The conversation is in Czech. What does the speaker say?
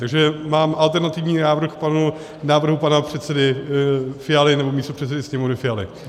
Takže mám alternativní návrh k návrhu pana předsedy Fialy nebo místopředsedy Sněmovny Fialy.